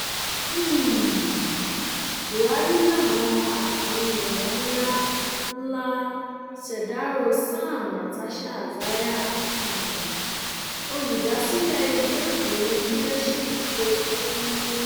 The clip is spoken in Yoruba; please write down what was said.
um buhari lawan àtàwọn èèyàn ńlá ńlá ṣèdárò sam natasha isaiah um olùdásílẹ ìwé ìròyìn leadership tó kù